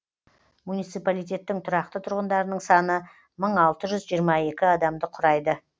муниципалитеттің тұрақты тұрғындарының саны мың алты жүз жиырма екі адамды құрайды